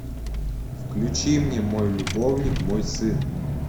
включи мне мой любовник мой сын